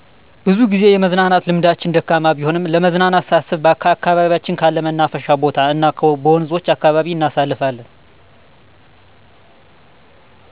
ብዙጊዜ የመዝናናት ልምዳችን ደካማ ቢሆንም ለመዝናናት ሳስብ ከአካባቢያችን ካለ መናፈሻ ቦታ እናበወንዞች አካባቢ እናሳልፋለን